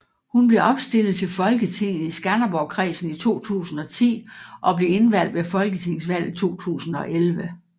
Hun blev opstillet til Folketinget i Skanderborgkredsen i 2010 og blev indvalgt ved folketingsvalget 2011